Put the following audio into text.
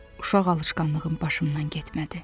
Uşaq alışqanlığım başımdan getmədi.